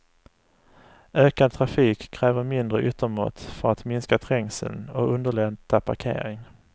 Ökad trafik kräver mindre yttermått för att minska trängseln och underlätta parkering.